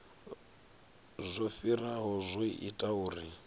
zwo fhiraho zwo ita uri